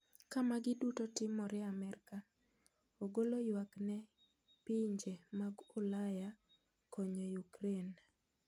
Ka magi duto timore America ogolo yuak ne pinje mag Ulaya konyo Ukraine.